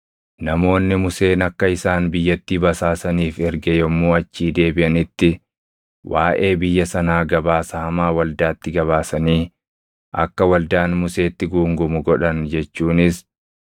Namoonni Museen akka isaan biyyattii basaasaniif erge yommuu achii deebiʼanitti waaʼee biyya sanaa gabaasa hamaa waldaatti gabaasanii akka waldaan Museetti guungumu godhan jechuunis